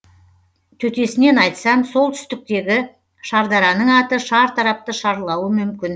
төтесінен айтсам солтүстіктегі шардараның аты шартарапты шарлауы мүмкін